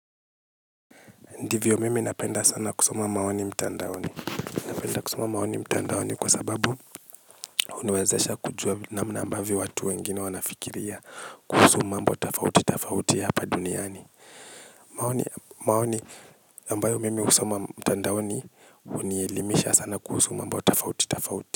Ndiyo mimi napenda sana kusoma maoni mtandaoni. Napenda kusoma maoni mtandaoni kwa sababu huniwezasha kujua namna ambavyo watu wengine wanafikiria. Kuhusu mambo tofauti tofauti hapa duniani maoni ambayo mimi husoma mtandaoni hunielimisha sana kuhusu mambo tofauti tofauti.